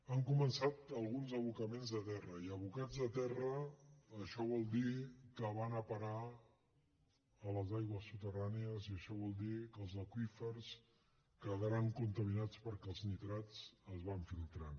han començat alguns abocaments a terra i abocats a terra això vol dir que van a parar a les aigües soterrànies i això vol dir que els aqüífers quedaran contaminats perquè els nitrats es van filtrant